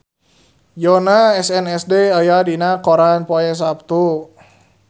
Yoona SNSD aya dina koran poe Saptu